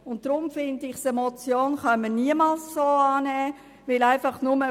Deswegen bin ich der Meinung, dass eine Motion so niemals angenommen werden kann.